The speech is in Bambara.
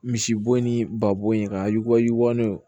Misibo ni ba bo in ka yuwa yuguba n'o ye